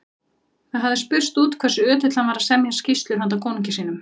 Það hafði spurst út hversu ötull hann var að semja skýrslur handa konungi sínum.